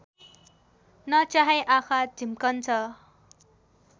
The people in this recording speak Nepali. नचाहे आँखा झिम्कन्छ